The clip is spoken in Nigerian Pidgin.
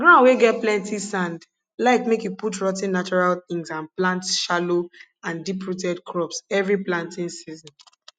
ground wey get plenti sand like make you put rot ten natural tins and plant shallow and deep rooted crops every planting season